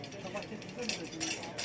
Qabağa çıxır da.